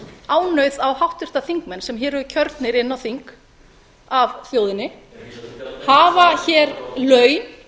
ánauð á háttvirtir þingmenn sem hér eru kjörnir á þing af þjóðinni hafa hér laun